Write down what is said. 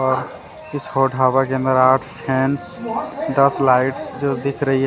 औ इस हो ढाबा के अंदर आठ दस लाइट जो दिख रही है।